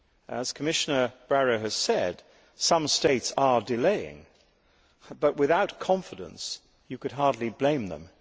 As Commissioner Barrot has said, some states are delaying, but without confidence you could hardly blame them.